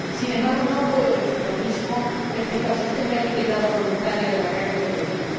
Sin embargo, no puedo decir lo mismo respecto del sistema de etiquetado voluntario de la carne de bovino.